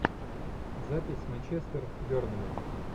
запись манчестер бернли